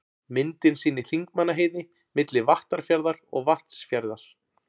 Myndin sýnir Þingmannaheiði, milli Vattarfjarðar og Vatnsfjarðar.